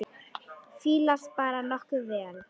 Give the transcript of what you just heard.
Fílast bara nokkuð vel.